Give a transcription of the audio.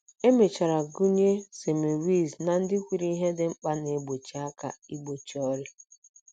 E mechara gụnye Semmelweis ná ndị kwuru ihe dị mkpa na - enye aka igbochi ọrịa.